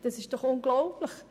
Das ist doch unglaublich!